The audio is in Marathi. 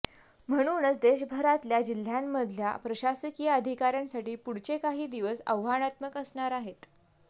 म्हणूनच देशभरातल्या जिल्ह्यांमधल्या प्रशासकीय अधिकाऱ्यांसाठी पुढचे काही दिवस आव्हानात्मक असणार आहेत